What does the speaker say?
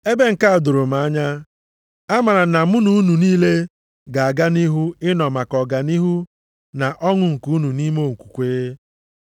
Ebe nke a doro m anya, amara m na mụ na unu niile ga-aga nʼihu ịnọ maka ọganihu na ọṅụ nke unu nʼime okwukwe.